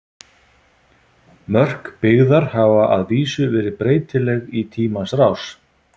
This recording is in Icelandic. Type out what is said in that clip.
Mörk byggðar hafa að vísu verið breytileg í tímans rás.